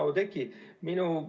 Hea Oudekki!